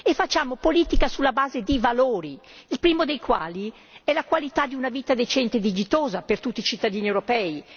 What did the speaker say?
Facciamo politica sulla base di valori, il primo dei quali è la qualità di una vita decente e dignitosa per tutti i cittadini europei.